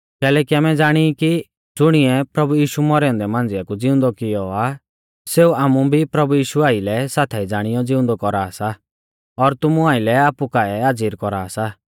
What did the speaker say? कैलैकि आमै ज़ाणी ई कि ज़ुणिऐ प्रभु यीशु मौरै औन्दै मांझ़िया कु ज़िउंदौ कियौ आ सेऊ आमु भी प्रभु यीशु आइलै साथाई ज़ाणियौ ज़िउंदौ कौरा सा और तुमु आइलै आपु काऐ हाज़िर कौरा सा